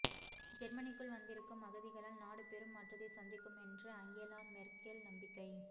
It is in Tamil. ஜெர்மனிக்குள் வந்திருக்கும் அகதிகளால் நாடு பெரும் மாற்றத்தை சந்திக்கும் என்று அங்கெலா மெர்க்கெல் நம்பிக்கை